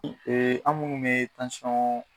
an munnu bɛ tansɔn